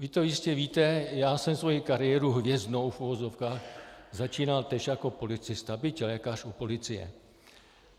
Vy to jistě víte, já jsem svoji kariéru, hvězdnou v uvozovkách, začínal též jako policista, byť lékař u policie.